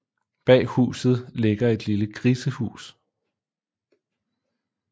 Bag huset ligger et lille grisehus